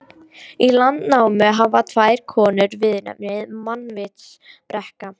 Í Landnámu hafa tvær konur viðurnefnið mannvitsbrekka.